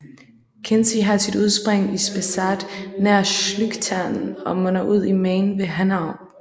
Kinzig har sit udspring i Spessart nær Schlüchtern og munder ud i Main ved Hanau